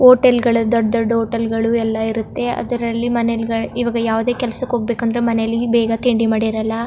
Hotel ಗಳು ದೊಡ್ಡ್ ದೊಡ್ಡ್ ಹೋಟೆಲ್ ಗಳು ಎಲ್ಲಾ ಇರುತ್ತೆ ಅದ್ರಲ್ಲಿ ಮನೆಲ್ ಗಳ್ ಈವಾಗ ಯಾವದೇ ಕೆಲ್ಸ್ ಕ್ಕೆ ಹೋಗಬೇಕಂದ್ರೆ ಮನೇಲಿ ಬೇಗ ತಿಂಡಿ ಮಾಡಿರಲ್ಲಾ.